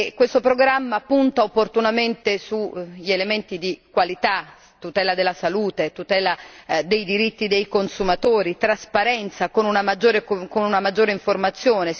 Questo programma punta opportunamente sugli elementi di qualità tutela della salute, tutela dei diritti dei consumatori, trasparenza con una maggiore informazione.